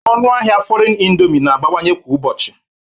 Ọnụ ahịa foriegn indomie na-abawanye kwa ụbọchị